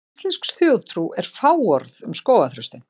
Íslensk þjóðtrú er fáorð um skógarþröstinn.